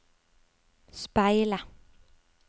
speile